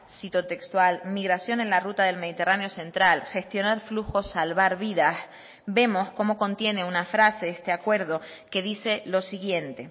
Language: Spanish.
cito textual migración en la ruta del mediterráneo central gestionar flujo salvar vidas vemos como contiene una frase este acuerdo que dice lo siguiente